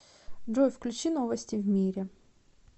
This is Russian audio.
джой включи новости в мире